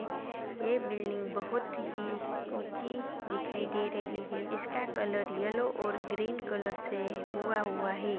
ये बिल्डिंग बहुत ही ऊँची दिखाई दे रही है इसका कलर येलो और ग्रीन कलर से हुआ हुआ है।